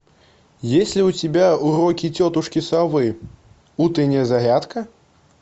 есть ли у тебя уроки тетушки совы утренняя зарядка